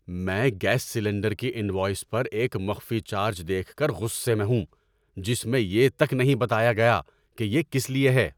میں gas cylinder کی invoice پر ایک مخفی چارج دیکھ کر غصے میں ہوں، جس میں یہ تک نہیں بتایا گیا کہ یہ کس لیے ہے۔